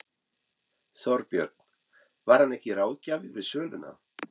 Þorbjörn: Var hann ekki ráðgjafi við söluna?